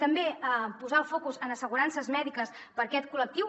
també posar el focus en assegurances mèdiques per a aquest col·lectiu